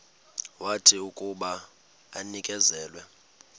wathi akuba enikezelwe